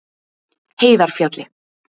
Heiðarfjalli